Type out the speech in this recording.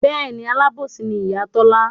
Bẹ́ẹ̀ni alábòsí ni Ìyá Tọ́lá